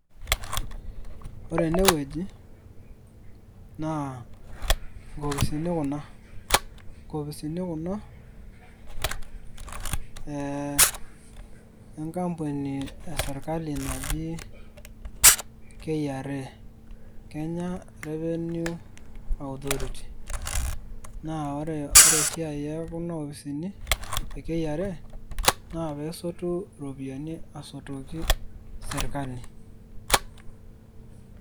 Ore enewueji naa nkopisini kuna nkopisini kuna ee enkampuni e sirkali naji KRA(kenya revenue authority) naa ore esiai e kuna opisini e KRA naa peesotu iropiyiani asotoki sirkali.